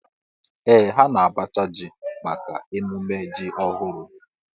Ee ha na-abacha ji maka ememme ji ọhụrụ